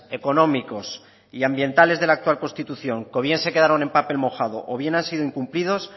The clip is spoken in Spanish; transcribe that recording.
económicos y ambientales de la actual constitución que o bien se quedaron en papel mojado o bien ha sido incumplidos